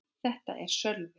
Þetta er Sölvi.